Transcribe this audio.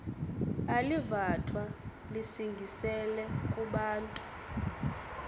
alivathwa lisingisele kubantu